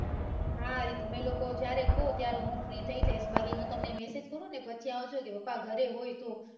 હા તમે લોકો જયારે કો ત્યારે free થઇ જૈસ બાકી હું તમને message કરુંને પછી આવજો કે પપ્પા ઘરે હોય તો